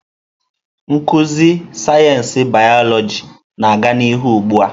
Nkuzi sayensị bịyọlojị na-aga n'ihu ugbu a.